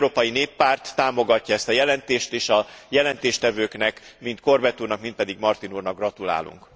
Az Európai Néppárt támogatja ezt a jelentést és a jelentéstevőknek, mind Corbett úrnak, mind pedig Martin úrnak gratulálunk.